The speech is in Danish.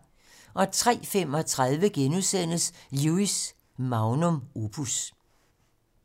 03:35: Lewis: Magnum opus *